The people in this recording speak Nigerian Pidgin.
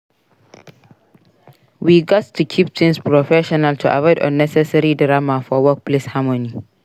We gats to keep things professional to avoid unnecessary drama for workplace harmony.